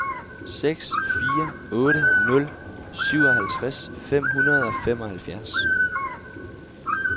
seks fire otte nul syvoghalvtreds fem hundrede og femoghalvfjerds